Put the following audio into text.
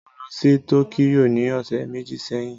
Mo lọ sí Tókíyò ní ọ̀sẹ̀ méjì sẹ́yìn